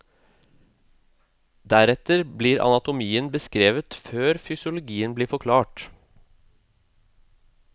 Deretter blir anatomien beskrevet før fysiologien blir forklart.